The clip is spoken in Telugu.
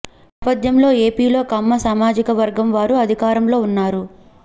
ఈ నేపథ్యంలో ఎపిలో కమ్మ సామాజిక వర్గం వారు అధికారంలో ఉన్నారు